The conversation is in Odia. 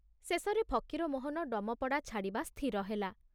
ଶେଷରେ ଫକୀରମୋହନ ଡମପଡ଼ା ଛାଡ଼ିବା ସ୍ଥିର ହେଲା।